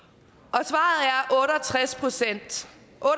tres procent